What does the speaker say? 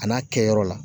A n'a kɛyɔrɔ la